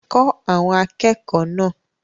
Kọ́ àwọn akẹ́kọ̀ọ́ náà!